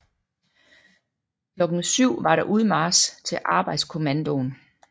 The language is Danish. Klokken 7 var der udmarch til arbejdskommandoen